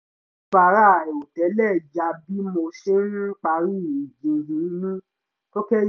bàárà àìrò tẹ́lẹ̀ yà bí mo ṣe ń parí ìjíhìn mi tó kẹ́